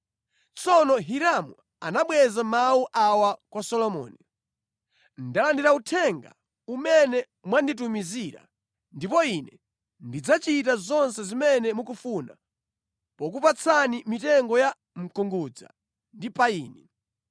Tsono Hiramu anabweza mawu awa kwa Solomoni: “Ndalandira uthenga umene mwanditumizira ndipo ine ndidzachita zonse zimene mukufuna pokupatsani mitengo ya mkungudza ndi payini.